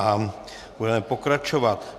A budeme pokračovat.